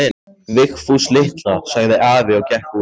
Vigfús litla, sagði afi og gekk út.